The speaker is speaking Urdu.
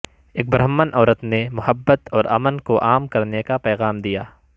ایک برہمن عورت نے محبت اور امن کو عام کرنے کا پیغام دیا